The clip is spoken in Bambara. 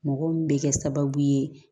Mɔgɔ min bɛ kɛ sababu ye